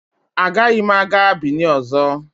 Agaghị m aga Binin ọzọ.